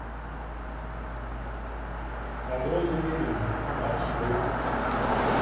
огромный мебельный маршрут